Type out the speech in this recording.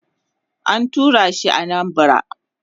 an turashi Anambara